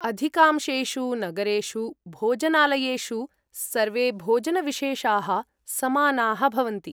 अधिकांशेषु नगरेषु भोजनालयेषु सर्वे भोजनविशेषाः समानाः भवन्ति।